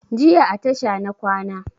Jiya a tasha na kwana